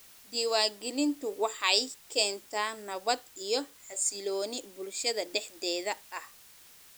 Diiwaangelintu waxay keentaa nabad iyo xasilooni bulshada dhexdeeda ah.